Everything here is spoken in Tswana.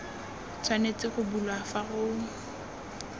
tshwanetse go bulwa fa go